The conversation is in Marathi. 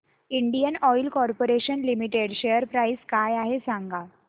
Indian Oil Corporation Limited share price काय आहे सांगा